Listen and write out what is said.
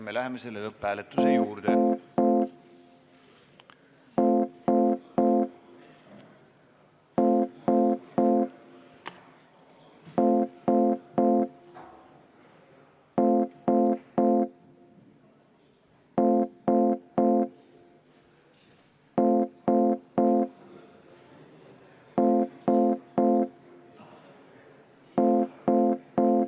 Me läheme lõpphääletuse juurde.